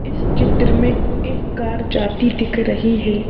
इस चित्र मे एक कार जाती दिख रही है।